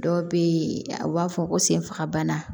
Dɔw bɛ yen a b'a fɔ ko senfagabana